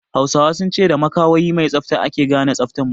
Hausawa sun ce da makawayi mai tsafta ake gane tsaftan mutun